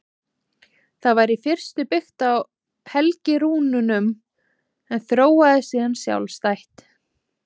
Það var í fyrstu byggt á helgirúnunum en þróaðist síðan sjálfstætt.